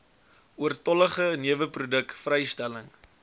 oortollige neweproduk vrystelling